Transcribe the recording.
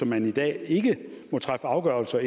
man i dag ikke må træffe afgørelser